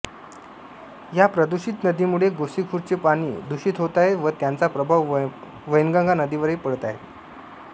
या प्रदूषित नदीमुळे गोसीखुर्दचे पाणी दूषित होत आहे व त्याचा प्रभाव वैनगंगा नदीवरही पडत आहे